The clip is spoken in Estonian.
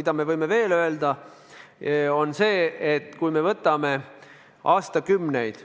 Veel võime öelda, et kui me võtame aastakümneid